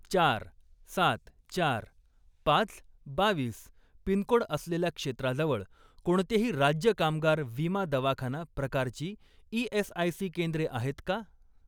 चार, सात, चार, पाच, बावीस पिनकोड असलेल्या क्षेत्राजवळ कोणतेही राज्य कामगार विमा दवाखाना प्रकारची ई.एस.आय.सी. केंद्रे आहेत का?